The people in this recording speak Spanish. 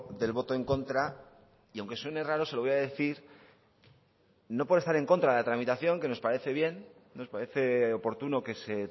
del voto en contra y aunque suene raro se lo voy a decir no por estar en contra de la tramitación que nos parece bien nos parece oportuno que se